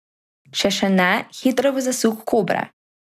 Če še ne, hitro v zasuk kobre.